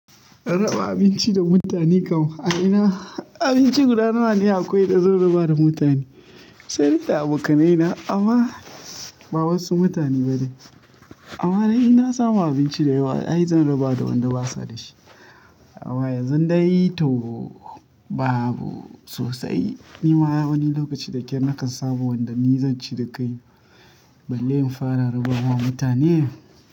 Raba abinci da mutane kam, a ina abinci guda nawa ne akwai da zan raba da mutane? Sai da abokanai na ama ba wasu mutane bane. Amma dai ina samu abinci da yawa ai zan raba da wanda basa da shi. Amma yanzun dai to, babu sosai. Ni ma a wani lokaci da ke nakan samu wanda ni zan ci da kai balle in fara raba wa mutane.